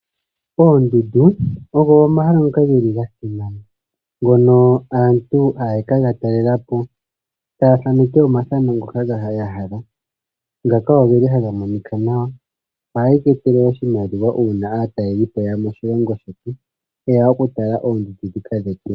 Oondundu ogo omahala ngoka geli ga simana, ngoka aantu haya kega talelapo, taya thaneke omathano ngoka ya hala, ngoka geli haga monika nawa. Ohadhi tu etele oshimaliwa uuna aatalelipo ta yeya moshilongo shetu, ta yeya oku tala oondundu dhika dhetu.